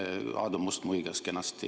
Aadu Must muigas kenasti.